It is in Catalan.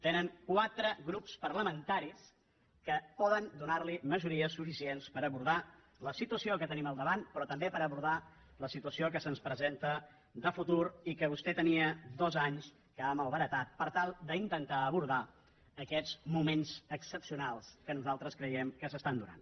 tenen quatre grups parlamentaris que poden donar li majories suficients per abordar la situació que tenim al davant però també per abordar la situació que se’ns presenta de futur i que vostè tenia dos anys que ha malbaratat per tal d’intentar abordar aquests moments excepcionals que nosaltres creiem que s’estan donant